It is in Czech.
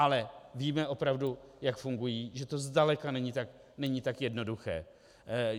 Ale víme opravdu, jak fungují, že to zdaleka není tak jednoduché.